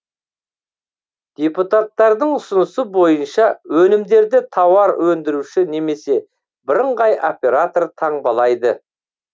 депутаттардың ұсынысы бойынша өнімдерді тауар өндіруші немесе бірыңғай оператор таңбалайды